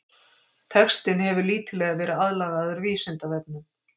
Textinn hefur lítillega verið aðlagaður Vísindavefnum.